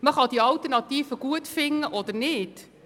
Man kann die Alternative gut finden oder nicht.